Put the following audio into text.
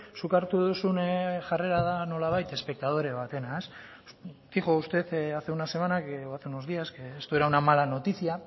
zuk hartu duzun jarrera da nolabait espektadore batena dijo usted hace una semana o hace unos días que esto era una mala noticia